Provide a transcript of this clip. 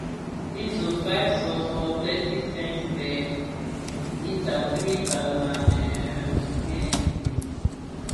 diesel five sulphur thirty cents per litre three thousand um cl decrease